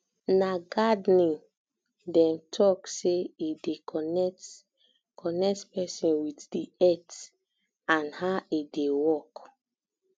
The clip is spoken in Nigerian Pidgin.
na gardening um dem um talk sey e dey connect connect pesin with di earth and how e dey work um